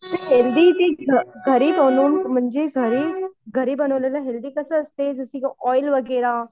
healthy ते घरी बनवून म्हणजे घरी, घरी बनवलेलं हेल्थी कसे असत ऑइल वगैरा